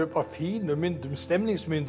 af fínum myndum stemningsmyndir